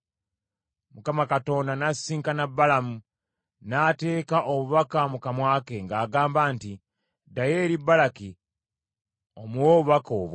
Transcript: Mukama Katonda n’asisinkana Balamu, n’ateeka obubaka mu kamwa ke, ng’agamba nti, “Ddayo eri Balaki omuwe obubaka obwo.”